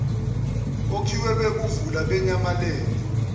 okhiye bokuvula benyamalele